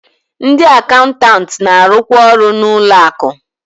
Ndị akaụntanti na-arụkwa ọrụ n'ụlọ akụ